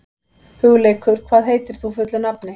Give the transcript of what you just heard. Hugleikur, hvað heitir þú fullu nafni?